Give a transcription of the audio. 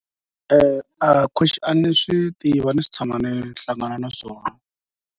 a ni swi tivi a ni se tshama ni hlangana na swona.